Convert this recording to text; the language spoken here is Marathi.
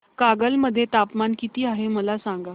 कागल मध्ये तापमान किती आहे मला सांगा